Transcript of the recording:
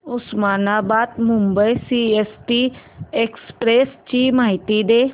Osmanabad Mumbai CST express ची माहिती दे